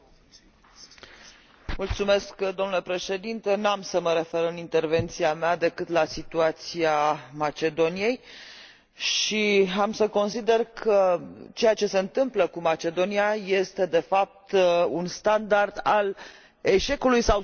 Domule președinte, n am să mă refer în intervenția mea decât la situația Macedoniei și am să consider că ceea ce se întâmplă cu Macedonia este, de fapt, un standard al eșecului sau succesului politicilor noastre